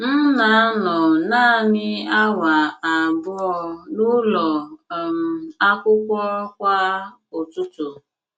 M na - anọ nanị awa abụọ n’ụlọ um akwụkwọ kwa ụtụtụ.